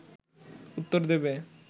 উত্তর দেবে